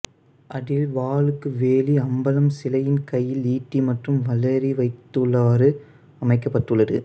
அதில் வாளுக்குவேலி அம்பலம் சிலையின் கையில் ஈட்டி மற்றும் வளரி வைத்துள்ளவாறு அமைக்கப்பட்டுள்ளது